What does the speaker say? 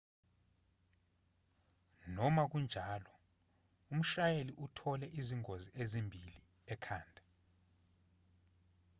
noma kunjalo umshayeli uthole izingozi ezimbi ekhanda